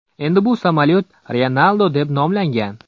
Endi bu samolyot Ryanaldo deb nomlangan.